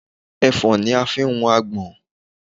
Ẹ̀fọ́n ni a fi ń hun agbọ̀n.